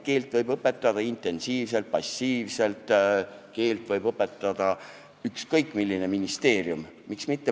Keelt võib õpetada intensiivselt ja passiivselt, keelt võib õpetada ükskõik milline ministeerium.